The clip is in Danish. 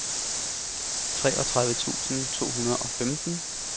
treogtredive tusind to hundrede og femten